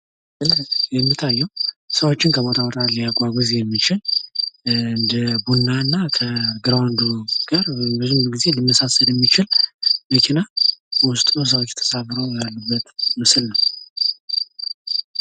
ዘመናዊ ተሽከርካሪዎች በቴክኖሎጂ የዳበሩና ደህንነታቸው የተጠበቀ እየሆኑ መጥተዋል። የኤሌክትሪክ ተሽከርካሪዎች የአየር ብክለትን ለመቀነስ ይረዳሉ።